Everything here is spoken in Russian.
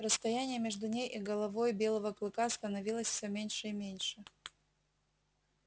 расстояние между ней и головой белого клыка становилось все меньше и меньше